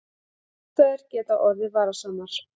Aðstæður geta orðið varasamar